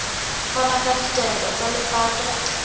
fana ka ditaelo tsa lepato